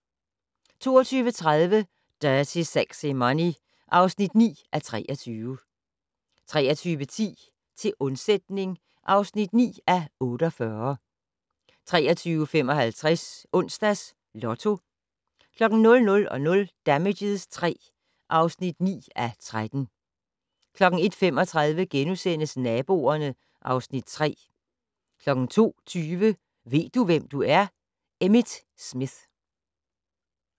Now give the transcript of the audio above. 22:30: Dirty Sexy Money (9:23) 23:10: Til undsætning (9:48) 23:55: Onsdags Lotto 00:00: Damages III (9:13) 01:35: Naboerne (Afs. 3)* 02:20: Ved du, hvem du er? - Emmitt Smith